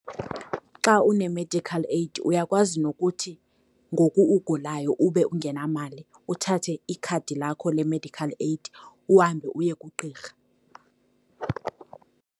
Xa unemedikhal eyidi uyakwazi nokuthi ngoku ugulayo ube ungenamali, uthathe ikhadi lakho lemedikhal eyidi, uhambe uye kugqirha.